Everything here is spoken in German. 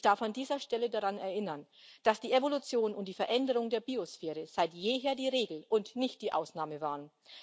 Ich darf an dieser Stelle daran erinnern, dass die Evolution und die Veränderung der Biosphäre seit jeher die Regel und nicht die Ausnahme waren.